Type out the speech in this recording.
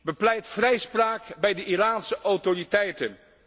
Bepleit vrijspraak bij de Iraanse autoriteiten!